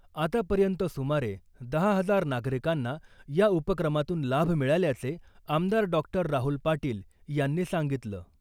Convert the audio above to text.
आतापर्यंत सुमारे दहा हजार नागरिकांना या उपक्रमातून लाभ मिळाल्याचे आमदार डॉक्टर राहुल पाटील यांनी सांगितलं .